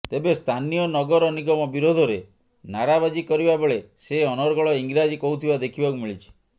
ତେବେ ସ୍ଥାନୀୟ ନଗର ନିଗମ ବିରୋଧରେ ନାରାବାଜି କରିବା ବେଳେ ସେ ଅନର୍ଗଳ ଇଂରାଜୀ କହୁଥିବା ଦେଖିବାକୁ ମିଳିଛି